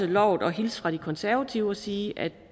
lovet at hilse fra de konservative og sige at